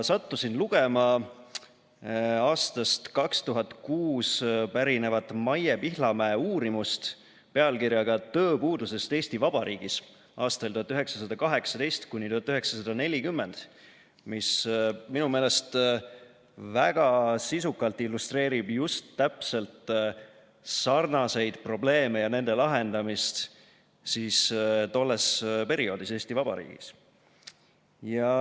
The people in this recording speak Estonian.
Sattusin lugema aastast 2006 pärinevat Maie Pihlamäe uurimust pealkirjaga "Tööpuudusest Eesti Vabariigis aastail 1918–1940", mis minu meelest väga sisukalt illustreerib just täpselt sarnaseid probleeme ja nende lahendamist tollel perioodil Eesti Vabariigis.